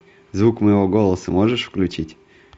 звук моего голоса можешь включить